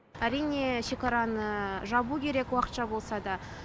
әрине шекараны жабу керек уақытша болса да